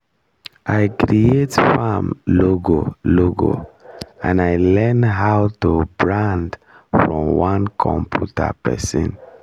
i create farm logo logo and i learn how to brand from one computer person